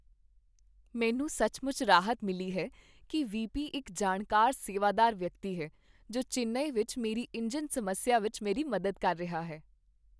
ਮੈਨੂੰ ਸੱਚਮੁੱਚ ਰਾਹਤ ਮਿਲੀ ਹੈ ਕੀ ਵੀ.ਪੀ. ਇੱਕ ਜਾਣਕਾਰ ਸੇਵਾਦਾਰ ਵਿਅਕਤੀ ਹੈ ਜੋ ਚੇਨਈ ਵਿੱਚ ਮੇਰੀ ਇੰਜਣ ਸਮੱਸਿਆ ਵਿੱਚ ਮੇਰੀ ਮਦਦ ਕਰ ਰਿਹਾ ਹੈ।